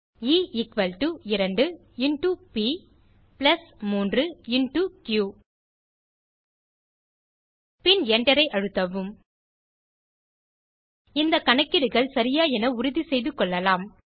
a equal to 2 into b plus 3 into q பின் Enter ஐ அழுத்தவும்160 இந்த கணக்கீடுகள் சரியா என உறுதி செய்து கொள்ளலாம்